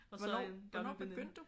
Og så en gammel veninde